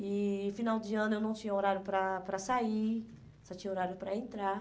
E final de ano eu não tinha horário para para sair, só tinha horário para entrar.